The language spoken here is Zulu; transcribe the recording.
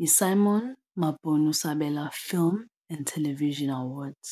yi-Simon Mabhunu Sabela Film and Television Awards.